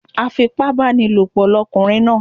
Afipábánilòpọ̀ ni ọkùnrin náà